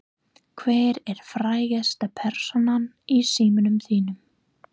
Hver er frægasta persónan í símanum þínum?